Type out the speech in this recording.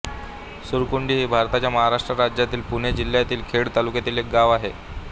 सुरकुंडी हे भारताच्या महाराष्ट्र राज्यातील पुणे जिल्ह्यातील खेड तालुक्यातील एक गाव आहे